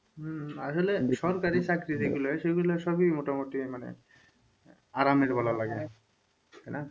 হম আসলে সরকারি চাকরি যেগুলা সেগুলো সবই মোটামুটি মানে আরামের বলা লাগে তাই না?